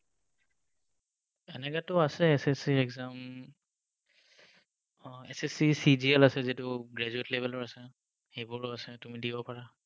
এনেকেতো আছে SSC exam um ah SSC, CGL আছে যিটো graduate level ৰ আছে। সেইবোৰো আছে, তুমি দিব পাৰা।